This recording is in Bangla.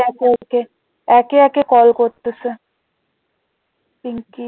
একে একে কল করতেছে পিঙ্কি